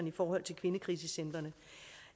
i forhold til kvindekrisecentrene